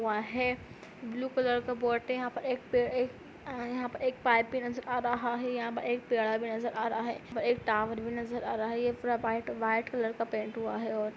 है। Blue colour का boat है। यहाँ प एक पेड़ एक अः यहाँ प एक पाइप भी नजर आ रहा है। यहाँ प एक पेड़ा भी नजर आ रहा है। एक टॉवर भी नजर आ रहा है। ये पूरा व्हाइट व्हाइट कलर का पेंट हुआ है और --